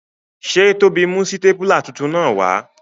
Se Tobi mu sitapula titun naa wa?